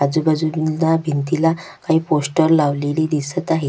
आजूबाजूंला भिंतीला काही पोस्टर लावलेले दिसत आहेत.